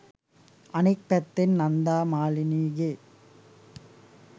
අනෙක් පැත්තෙන් නන්දා මාලිනීගේ